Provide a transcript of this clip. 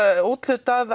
úthlutað